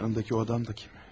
Yandakı o adam da kim?